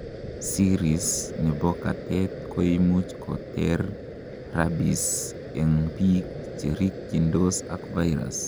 series nebo katet koimuch koter rabies en biik cherikyindos ak virus